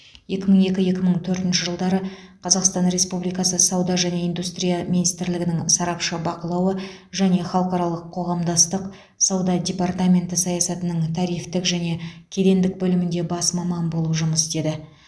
екі мың екі екі мың төртінші жылдары қазақстан республикасы сауда және индустрия министрлігінің сарапшы бақылауы және халықаралық қоғамдастық сауда департаменті саясатының тарифтік және кедендік бөлімінде бас маман болып жұмыс істеді